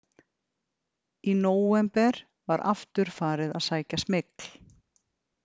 Í nóvember var aftur farið að sækja smygl.